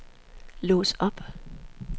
lås op